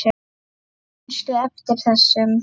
Manstu eftir þessum?